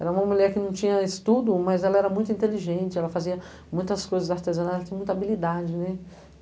Era uma mulher que não tinha estudo, mas ela era muito inteligente, ela fazia muitas coisas artesanais, ela tinha muita habilidade, né?